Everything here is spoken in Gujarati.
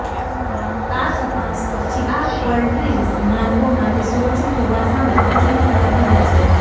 આ તપાસ પછી આ કોલ્ડ ડ્રિંક્સ માનવો માટે સુરક્ષિત હોવા સામે પ્રશ્ન ખડા થયા છે